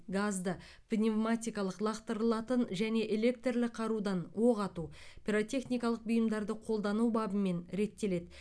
газды пневматикалық лақтырылатын және электрлі қарудан оқ ату пиротехникалық бұйымдарды қолдану бабымен реттеледі